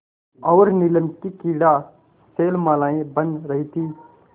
और नीलम की क्रीड़ा शैलमालाएँ बन रही थीं